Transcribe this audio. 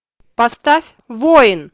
поставь воин